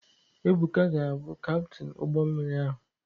Ebuka ga-abụ Kaptin ụgbọ mmiri ahụ.